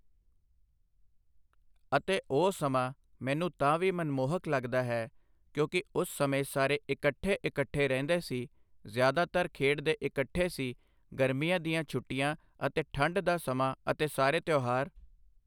ਅਤੇ ਉਹ ਸਮਾਂ ਮੈਨੂੰ ਤਾਂ ਵੀ ਮਨਮੋਹਕ ਲੱਗਦਾ ਹੈ ਕਿਉਂਕਿ ਉਸ ਸਮੇਂ ਸਾਰੇ ਇਕੱਠੇ ਇਕੱਠੇ ਰਹਿੰਦੇ ਸੀ ਜ਼ਿਆਦਾਤਰ ਖੇਡਦੇ ਇਕੱਠੇ ਸੀ ਗਰਮੀਆਂ ਦੀਆਂ ਛੁੱਟੀਆਂ ਅਤੇ ਠੰਡ ਦਾ ਸਮਾਂ ਅਤੇ ਸਾਰੇ ਤਿਉਹਾਰ